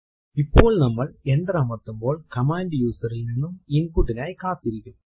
ഇപ്പോൾ നമ്മൾ എന്റർ അമർത്തുമ്പോൾ കമാൻഡ് user ൽ നിന്നും input നായി കാത്തിരിക്കും